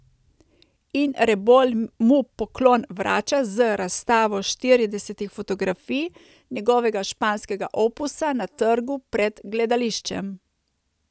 In Rebolj mu poklon vrača z razstavo štiridesetih fotografij njegovega španskega opusa na trgu pred gledališčem.